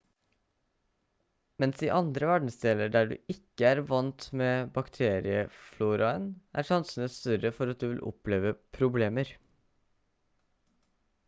mens i andre verdensdeler der du ikke er vandt med bakteriefloraen er sjansene større for at du vil oppleve problemer